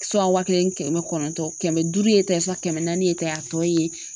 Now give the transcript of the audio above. wa kelen ni kɛmɛ kɔnɔntɔn kɛmɛ duuru ye tan ye sa kɛmɛ naani ye tan a tɔ ye